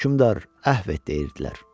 Hökmdar, əhv et!" deyirdilər.